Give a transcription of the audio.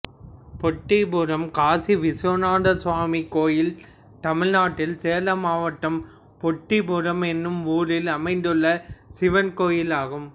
பொட்டிபுரம் காசி விஸ்வநாதர் சுவாமி கோயில் தமிழ்நாட்டில் சேலம் மாவட்டம் பொட்டிபுரம் என்னும் ஊரில் அமைந்துள்ள சிவன் கோயிலாகும்